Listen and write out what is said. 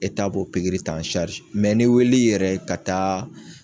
b'o pikiri ta n'e wulil'i yɛrɛ ye ka taa